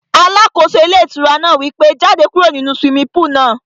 Alákóso ilé ìtura náà wí pé, jáde kúrò nínu swimming pool náà